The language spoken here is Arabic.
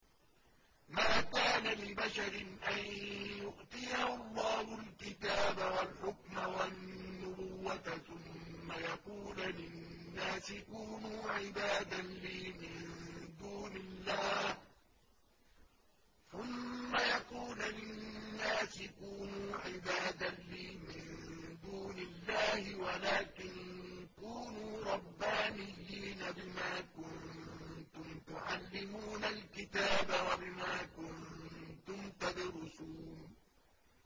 مَا كَانَ لِبَشَرٍ أَن يُؤْتِيَهُ اللَّهُ الْكِتَابَ وَالْحُكْمَ وَالنُّبُوَّةَ ثُمَّ يَقُولَ لِلنَّاسِ كُونُوا عِبَادًا لِّي مِن دُونِ اللَّهِ وَلَٰكِن كُونُوا رَبَّانِيِّينَ بِمَا كُنتُمْ تُعَلِّمُونَ الْكِتَابَ وَبِمَا كُنتُمْ تَدْرُسُونَ